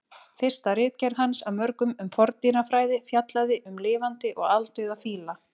Fyrsta ritgerð hans af mörgum um forndýrafræði fjallaði um lifandi og aldauða fíla.